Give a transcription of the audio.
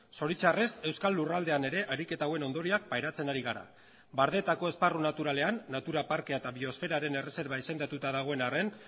zoritxarrez euskal lurraldean ere ariketa hauen ondorioak pairatzen ari gara bardeetako esparru naturalean natura parkea eta biosferaren erreserba izendatuta dagoen arren